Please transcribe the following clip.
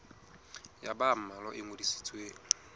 ya ba mmalwa e ngodisitsweng